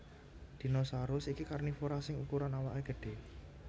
Dinosaurus iki karnivora sing ukuran awaké gedhé